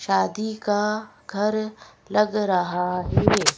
शादी का घर लग रहा है --